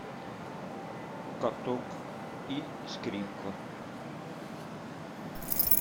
каток и скрипка